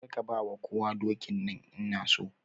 Kar ka ba kowa dokin nan! Ina so.